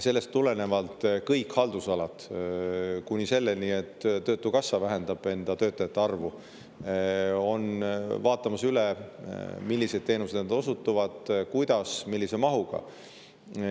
Kõik haldusalad – kuni selleni, et töötukassa vähendab enda töötajate arvu – on üle vaatamas, milliseid teenuseid nad osutavad, kuidas ja millise mahuga.